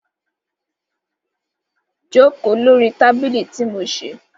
Joko lori tabili ti mo ṣe